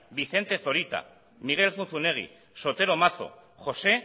vicente zorita miguel zunzunegui sotero mazo josé